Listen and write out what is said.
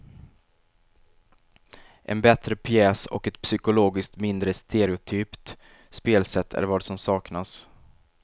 En bättre pjäs och ett psykologiskt mindre stereotypt spelsätt är vad som saknas.